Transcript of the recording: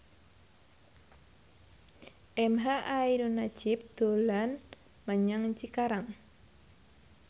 emha ainun nadjib dolan menyang Cikarang